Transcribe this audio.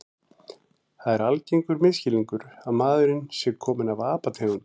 Það er algengur misskilningur að maðurinn sé kominn af apategundum.